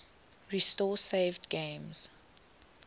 restore saved games